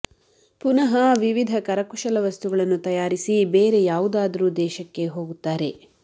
ಪುನಃ ವಿವಿಧ ಕರಕುಶಲ ವಸ್ತುಗಳನ್ನು ತಯಾರಿಸಿ ಬೇರೆ ಯಾವುದಾದರೂ ದೇಶಕ್ಕೆ ಹೋಗುತ್ತಾರೆ